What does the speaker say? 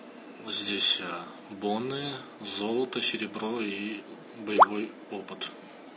вот здесь боны золото серебро и боевой опыт